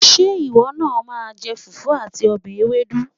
Ṣé ìwọ náà máa jẹ fùfú àti ọbẹ̀ ewédú?